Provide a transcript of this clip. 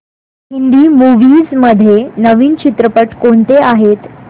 Hindi movies मध्ये नवीन चित्रपट कोणते आहेत